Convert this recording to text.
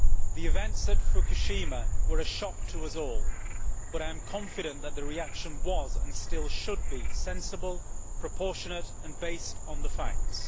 The events at Fukushima were a shock to us all, but I am confident that the reaction was, and still should be, sensible, proportionate and based on the facts.